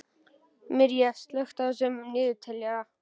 Mirja, slökktu á niðurteljaranum.